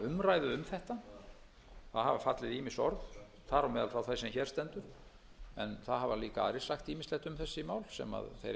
orð þar á meðal frá þeim sem hér stendur en það hafa líka aðrir sagt ýmislegt um þessi mál sem þeir eiga kannski eftir að hugleiða síðar